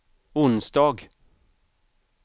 onsdag